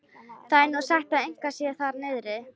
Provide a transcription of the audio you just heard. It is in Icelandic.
Það er nú sagt að eitthvað sé þar niðri.